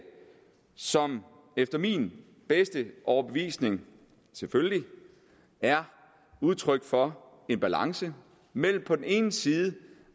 som efter min bedste overbevisning selvfølgelig er udtryk for en balance mellem på den ene side